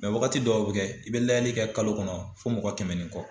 wagati dɔw bɛ kɛ i bɛ layɛli kɛ kalo kɔnɔ fo mɔgɔ kɛmɛ ni kɔ.